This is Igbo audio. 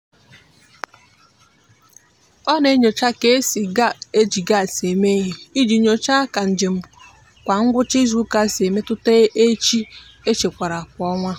ọ na-enyocha ka e si eji gas eme ihe iji nyochaa ka njem kwa ngwụcha izuụka si emetụta ehi e echekwara kwa ọnwa.